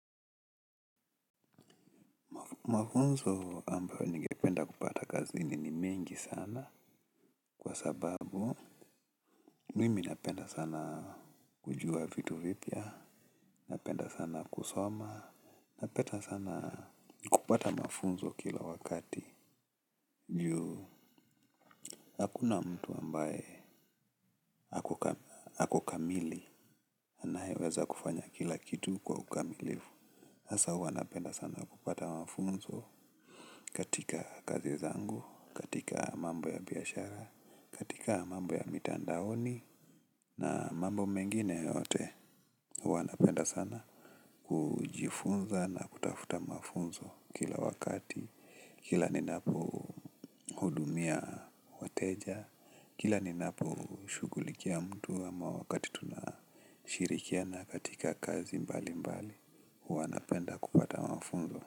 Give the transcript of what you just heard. Mafunzo ambayo ningependa kupata kazini ni mengi sana kwa sababu, mimi napenda sana kujua vitu vipya, napenda sana kusoma, napenda sana kupata mafunzo kila wakati, ju hakuna mtu ambaye ako kamili, anayeweza kufanya kila kitu kwa ukamilivu. Hasa huwa napenda sana kupata mafunzo katika kazi zangu, katika mambo ya biashara, katika mambo ya mitandaoni na mambo mengine yote. Huw anapenda sana kujifunza na kutafuta mafunzo kila wakati, kila ninapohudumia wateja, kila ninaposhugulikia mtu ama wakati tunashirikiana katika kazi mbali mbali. Huanapenda kupata mafunzo.